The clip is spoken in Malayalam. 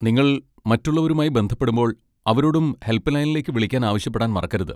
നിങ്ങൾ മറ്റുള്ളവരുമായി ബന്ധപ്പെടുമ്പോൾ, അവരോടും ഹെൽപ്പ് ലൈനിലേക്ക് വിളിക്കാൻ ആവശ്യപ്പെടാൻ മറക്കരുത്.